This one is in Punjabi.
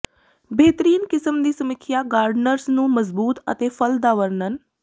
ਬੇਹਤਰੀਨ ਕਿਸਮ ਦੀ ਸਮੀਖਿਆ ਗਾਰਡਨਰਜ਼ ਨੂੰ ਮਜ਼ਬੂਤ ਅਤੇ ਫਲ ਦਾ ਵਰਣਨ